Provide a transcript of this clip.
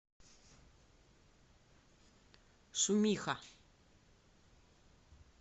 шумиха